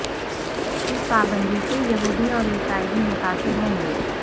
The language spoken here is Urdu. اس پابندی سے یہودی اور عیسائی بھی متاثر ہوں گے